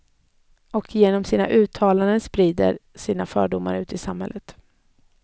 Och att de genom sina uttalanden sprider sina fördomar ut i samhället.